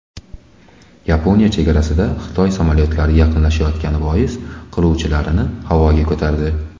Yaponiya chegarasiga Xitoy samolyotlari yaqinlashgani bois qiruvchilarini havoga ko‘tardi.